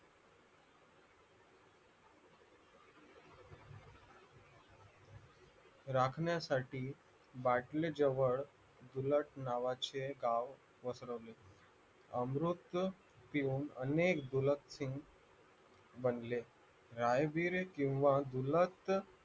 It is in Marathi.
राखण्यासाठी बाटले जवळ डुलत नावाचे गाव पसरवले अमृत पिऊन अनेक डुलत सिंग बनले राय-विरे किंवा डुलत